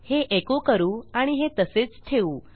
हे एको करू आणि हे तसेच ठेवू